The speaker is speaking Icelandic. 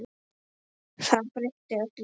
Það breytti öllu.